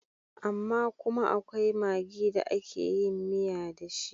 Amma kuma akwai magi da ake yin miya da shi.